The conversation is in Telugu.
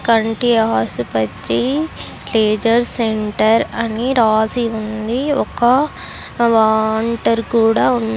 కంటి ఆసుపత్రి లేజర్ సెంటర్ అని రాసి ఉంది ఒక వాంటర్ కూడా ఉం--